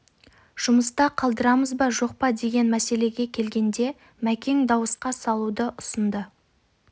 жұмыста қалдырамыз ба жоқ па деген мәселеге келгенде мәкең дауысқа салуды ұсынды